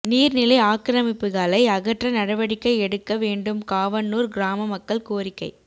நீா்நிலை ஆக்கிரமிப்புகளை அகற்ற நடவடிக்கை எடுக்க வேண்டும்காவனூா் கிராம மக்கள் கோரிக்கை